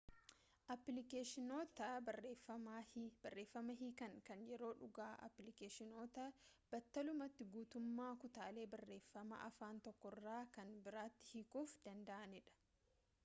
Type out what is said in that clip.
appilikeeshinoota barreeffama hiikan kan yeroo-dhugaa-applikeeshinoota battalumatti guutummaa kutaalee barreeffamaa afaan tokkorraa kan biraatti hiikuuf danda'aniidha